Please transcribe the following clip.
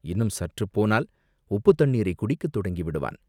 இன்னும் சற்றுப் போனால் உப்புத்தண்ணீரைக் குடிக்கத் தொடங்கி விடுவான்!